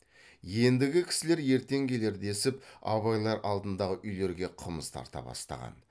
ендігі кісілер ертең келер десіп абайлар алдыңғы үйлерге қымыз тарта бастаған